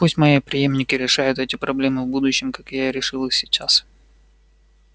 пусть мои преемники решают эти проблемы в будущем как я решил их сейчас